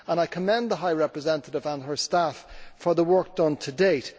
I commend the High Representative and her staff for the work done to date.